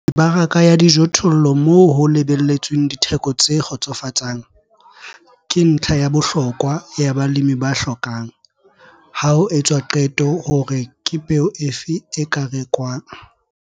Mebaraka ya dijothollo moo ho lebelletsweng ditheko tse kgotsofatsang, ke ntlha ya bohlokwa ya balemi ba hlokang, ha ho etswa qeto hore ke peo efe e ka rekwang.